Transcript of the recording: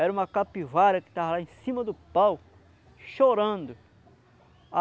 Era uma capivara que tava lá em cima do pau, chorando.